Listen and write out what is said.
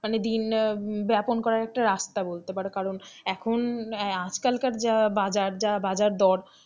মানে দিন ব্যাপন করার একটা রাস্তা বলতে পারো কারণ এখন আজকালকার যা বাজার যা বাজার দর,